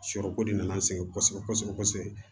Sɔrɔko de nan'an sɛgɛn kosɛbɛ kosɛbɛ